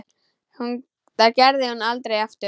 Það gerði hún aldrei aftur.